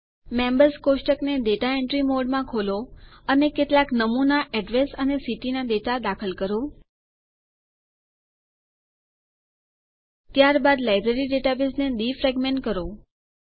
members કોષ્ટકને data entry મોડમાં ખોલો અને કેટલાક નમૂના એડ્રેસ અને સિટી ના ડેટા દાખલ કરો